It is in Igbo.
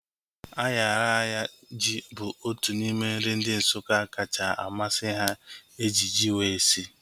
Ayaraya ji bụ otu n'ime nri ndị Nsukka kacha amasị ha eji ji wee sie